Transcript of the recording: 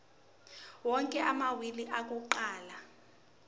onke amawili akuqala